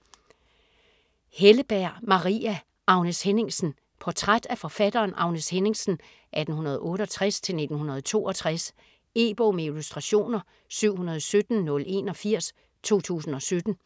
Helleberg, Maria: Agnes Henningsen Portræt af forfatteren Agnes Henningsen (1868-1962). E-bog med illustrationer 717081 2017.